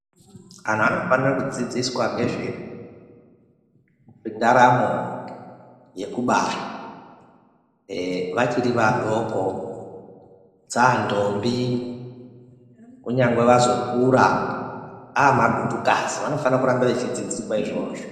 Vantu vanofana kudzidziswa nezvendaramo yekubara vachiri vadoko dzandombi kunyangwe vazokura amagutukazi vanofana kuramba vachifundiswa izvozvo.